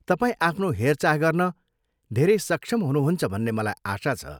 तपाईँ आफ्नो हेरचाह गर्न धेरै सक्षम हुनुहुन्छ भन्ने मलाई आशा छ।